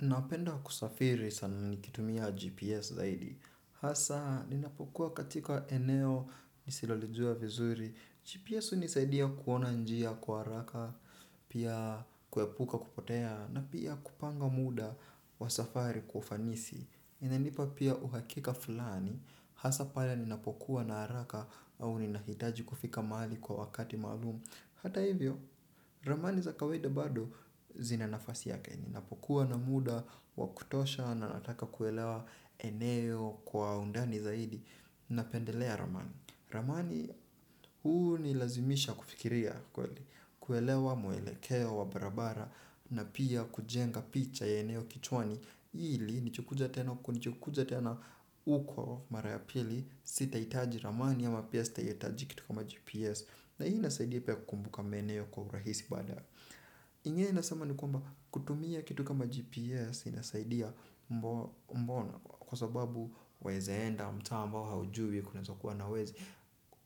Napenda kusafiri sana nikitumia GPS zaidi. Hasa, ninapokuwa katika eneo nisilolijua vizuri. GPS hunisaidia kuona njia kwa haraka, pia kuepuka kupotea, na pia kupanga muda wa safari kwa ufanisi. Ina nipa pia uhakika fulani, hasa pale ninapokuwa na haraka au ninahitaji kufika mahali kwa wakati maalum. Hata hivyo, ramani za kawaida bado zina nafasi yake. Ninapokuwa na muda, wa kutosha, na nataka kuelewa eneo kwa undani zaidi. Napendelea ramani. Ramani hunilazimisha kufikiria kweli kuelewa mwelekeo wa barabara na pia kujenga picha ya eneo kichwani. Ili, nikikuja tena huko mara ya pili sita hitaji ramani ama pia sita hitaji kitu kama GPS. Na hii inasaidia pia kukumbuka meneo kwa urahisi badae. Ingine nasema ni kwamba kutumia kitu kama GPS inasaidia mbona. Kwa sababu waeza enda mtaa ambao haujui kunaeza kuwa na wezi.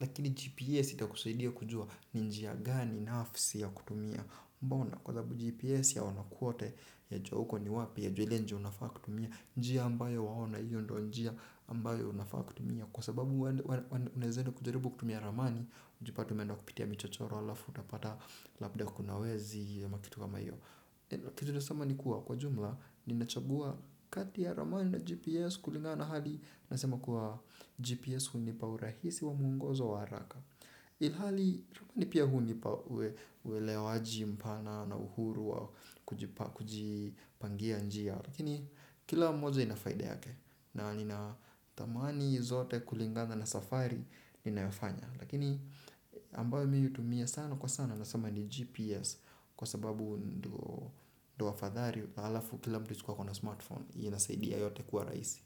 Lakini GPS itakusaidia kujua ni njia gani nafsi ya kutumia. Mbona kwa sababu GPS yaona kwote yajua huko ni wapi yajua ile njia unafaa kutumia. Njia ambayo waona hiyo ndo njia ambayo unafaa kutumia. Kwa sababu unaeza enda kujaribu kutumia ramani ujipate umenda kupitia michochoro halafu utapata labda kuna wezi ama kitu kama hiyo. Kitu naeza sema ni kuwa kwa jumla ninachagua kati ya ramani na GPS kulingana na hali. Nasema kuwa GPS hunipa urahisi wa muongozo wa haraka ilhali ramani pia hunipa uelewaji mpana na uhuru wa kujipa kujipangia njia. Lakini kila moja ina faida yake na nina thamani zote kulingana na safari ninayofanya lakini ambayo mimi hutumia sana kwa sana nasema ni GPS kwa sababu ndo afadhali alafu kila mtu siku akona smartphone hiyo inasaidia yote kuwa rahisi.